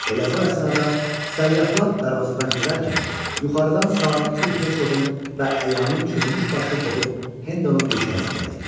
Elə bu əsnada səyyahlar darvazadan girərkən yuxarıdan sabiq bir hersoqun və əyanın çürümüş başı qopub Hendonun dirsəyinə dəydi.